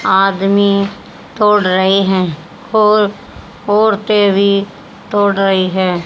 आदमी तोड़ रहे हैं और औरतें भी तोड़ रही हैं।